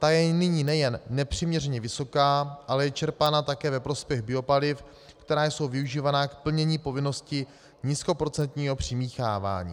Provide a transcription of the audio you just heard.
Ta je nyní nejen nepřiměřeně vysoká, ale je čerpána také ve prospěch biopaliv, která jsou využívána k plnění povinnosti nízkoprocentního přimíchávání.